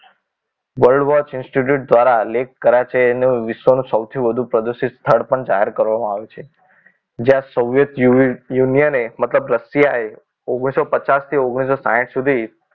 World watch institution દ્વારા lake Karachay નું વિશ્વ નું સૌથી વધુ પ્રદૂષિત સ્થળ પણ જાહેર કરવામાં આવ્યું છે જ્યાં Soviet Union ને મતલબ રશિયાએ ઓગ્નીશો પચાસ થી ઓગ્નીશો સાહીઠ સુધી